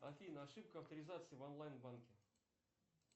афина ошибка авторизации в онлайн банке